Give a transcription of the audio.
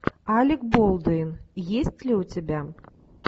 алек болдуин есть ли у тебя